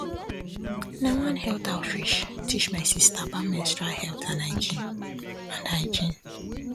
na one health outreach teach my sister about menstrual health and hygiene and hygiene